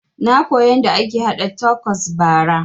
Na koya yanda ake haɗa takos bara